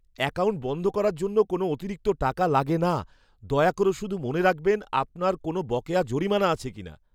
Account বন্ধ করার জন্য কোনও অতিরিক্ত টাকা লাগে না। দয়া করে শুধু মনে রাখবেন আপনার কোনও বকেয়া জরিমানা আছে কিনা।